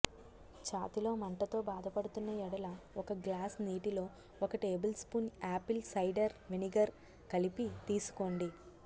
చాతిలో మంటతో బాధపడుతున్న యెడల ఒక గ్లాస్ నీటిలో ఒక table spoon apple cider vinegar కలిపి తీసుకోండి